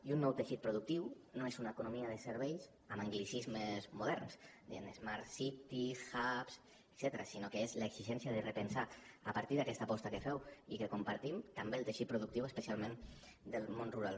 i un nou teixit productiu no és una economia de serveis amb anglicismes moderns diguem ne smart cities a partir d’aquesta aposta que feu i que compartim també el teixit productiu especialment del món rural